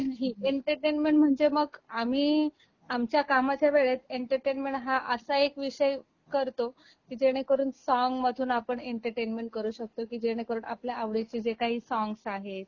entertainment म्हणजे मग आम्ही आमच्या कामच्या वेळेत एंटरटेनमेंट हा असा एक विषय करतो की जेणे करून सॉन्ग मधून आपण एंटरटेनमेंट करू शकतो की जेणेकरून आपल्या आवडीची जे काही सॉन्गस आहेत